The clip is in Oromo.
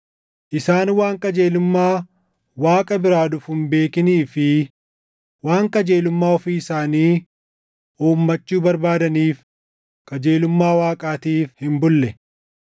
Isaan waan qajeelummaa Waaqa biraa dhufu hin beekinii fi waan qajeelummaa ofii isaanii uumachuu barbaadaniif qajeelummaa Waaqaatiif hin bulle.